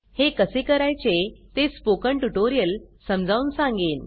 हे कसे करायचे ते स्पोकन ट्युटोरियल समजावून सांगेन